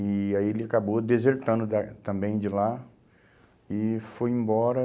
E aí ele acabou desertando da também de lá e foi embora.